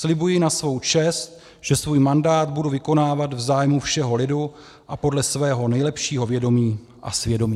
Slibuji na svou čest, že svůj mandát budu vykonávat v zájmu všeho lidu a podle svého nejlepšího vědomí a svědomí.